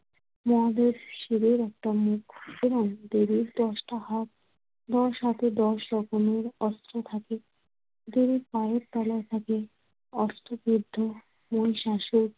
মহাদেব শিবের একটা মুখ এবং দেবীর দশটা হাত। দশ হাতে দশ রকমের অস্ত্র থাকে। দেবীর পায়ের তলায় থাকে অস্ত্রবিদ্ধ মহিষাশুর